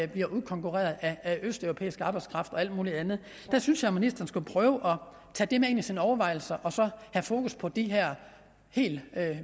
bliver udkonkurreret af østeuropæisk arbejdskraft og alt muligt andet jeg synes jo at ministeren skulle prøve at tage det med ind i sine overvejelser og så have fokus på de her helt